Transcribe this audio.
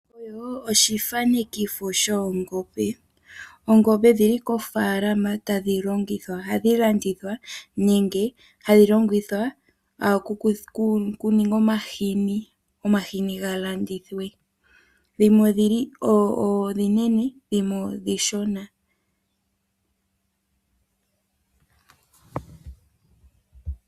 Oongombe odhili kofaalama tadhi longithwa nokulandithwa. Dhimwe ohadhi longithwa okuninga omàhini, opo ga landithwe. Dhimwe oonene dhimwe ooshona.